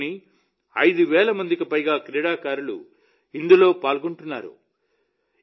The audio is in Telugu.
దేశంలోని 5 వేల మందికి పైగా క్రీడాకారులు ఇందులో పాల్గొంటున్నారు